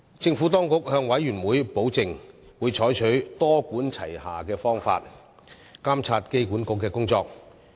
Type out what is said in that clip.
政府當局向事務委員會保證，會採取多管齊下的方法監察機管局的工作。